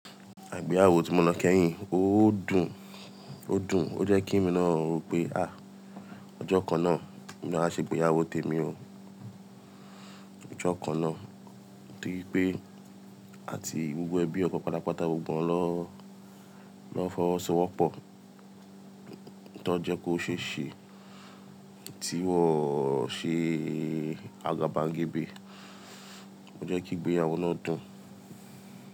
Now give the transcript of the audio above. Àgbéyàwó tí mo ná kẹ́hìn, ó dùn, ó dùn. Ó jẹ́ kí mi naa ọ̀ pé, ọjọ́ kan náà ni wọ́n á ṣe ìgbéyàwó tèmi o. Ọjọ́ kan náà ti pé àti gbogbo ẹbí ọkọ pátápátá, gbogbo wọn lọ́, lọ fọwọ́ so wọ́pọ̀, ti won jẹ́ ko ṣe é ṣe tí wọ́n ò ṣe àgàbàgebè. Ó jẹ́ kí ìgbéyàwó náà dùn.